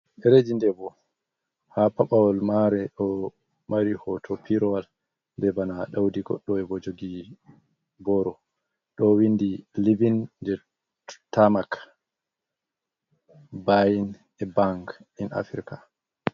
Derejidebo ha pabawal mare do mari hoto pirowal, be bana daudi goddowebo jogi boro do windi livin jerttamak bayin e bank in afrika.